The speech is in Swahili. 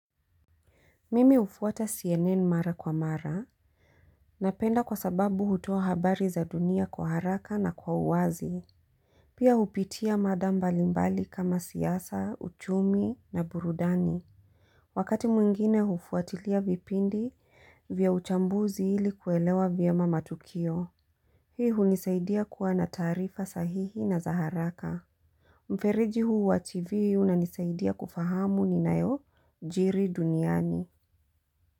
Mimi hufuata CNN mara kwa mara. Napenda kwa sababu hutoa habari za dunia kwa haraka na kwa uwazi. Pia hupitia mada mbalimbali kama siasa, uchumi na burudani. Wakati mwingine hufuatilia vipindi vya uchambuzi ili kuelewa vyema matukio. Hii hunisaidia kuwa na taarifa sahihi na za haraka. Mferiji huu wa TV unanisaidia kufahamu ninayo jiri duniani. Muzika.